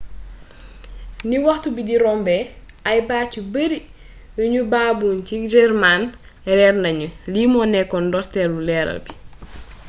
ni waxtu bi di rombé ay baat yu bari yu nu baboon ci german réér nagnu lii mo nékkoon ndortélu leeral bi